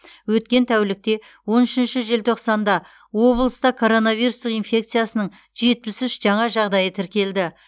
өткен тәулікте он үшінші желтоқсанда облыста коронавирустық инфекциясының жетпіс үш жаңа жағдайы тіркелді